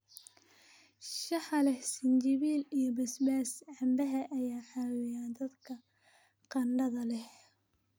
shaaha leh sinjibiil iyo basbaas canbaha ayaa caawiya dadka qandhada leh